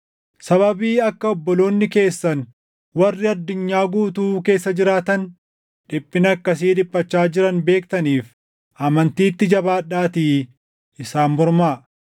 Sababii akka obboloonni keessan warri addunyaa guutuu keessa jiraatan dhiphina akkasii dhiphachaa jiran beektaniif amantiitti jabaadhaatii isaan mormaa.